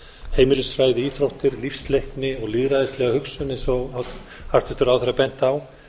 heimilisfræði íþróttir lífsleikni og lýðræðislega hugsun eins og hæstvirtur ráðherra benti á